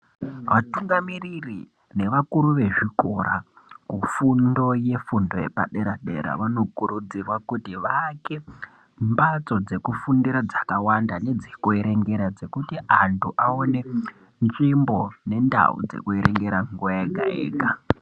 Vatungamiri nevakuru vezvikora kufundo yefundo yepadera dera vanokurudzirwa kuti vaake mbatso dzekufundira nedzekuerengera dzakawanda dzekuti antu aone nzvimbo nendau dzekuerengera nguwa yega yega